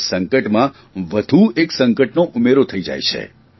એટલે સંકટમાં વધુ એક સંકટનો ઉમેરો થઇ જાય છે